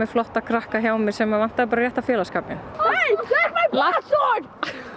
krakka hjá mér sem vantaði bara rétta félagsskapinn